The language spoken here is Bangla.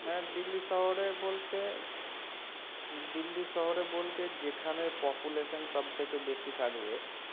হ্যাঁ দিল্লী শহরে বলতে দিল্লী শহরে বলতে যেখানে population সব থেকে বেশি থাকবে